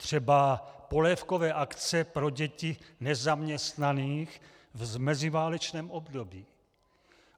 Třeba polévkové akce pro děti nezaměstnaných v meziválečném období.